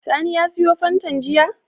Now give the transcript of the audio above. Sani ya siyo fantan jiya??